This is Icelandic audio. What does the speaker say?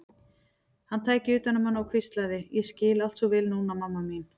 Hann tæki utan um hana og hvíslaði: Ég skil allt svo vel núna, mamma mín.